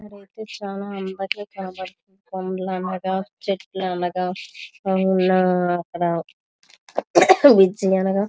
అదైతే చానా అందరికీ కనబడుతుంది. కొండలనుగా చెట్లనగా పైన అక్కడ బ్రిడ్జి అనగా --